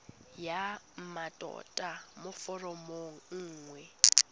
ya mmatota mo foromong nngwe